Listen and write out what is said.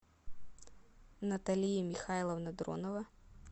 наталия михайловна дронова